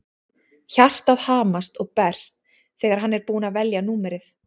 Hjartað hamast og berst þegar hann er búinn að velja númerið.